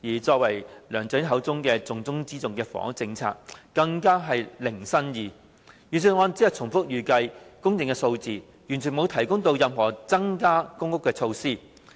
至於梁振英口中"重中之重"的房屋政策，更加是零新意，預算案只重複預計的供應數字，完全沒有提出任何增加公屋供應的措施。